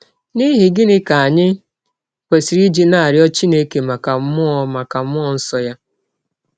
N’ihi gịnị ka anyị kwesịrị iji na - arịọ Chineke maka mmụọ maka mmụọ nsọ ya?